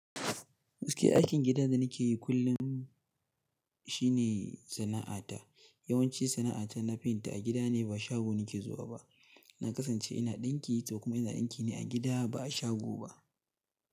Masu kai aikin gidan da nake yi kullum shine sana'ata. Yawanci sana'ata na fenti a gida ne ba shago nake zuwa ba. Na kasance ina ɗinki sau kuma ina ɗinki ne a gida ba a shago ba.